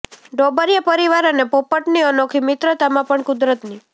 ડોબરિયા પરિવાર અને પોપટની અનોખી મિત્રતામાં પણ કુદરતની